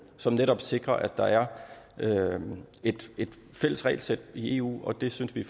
som netop sikrer at der er et fælles regelsæt i eu og det synes vi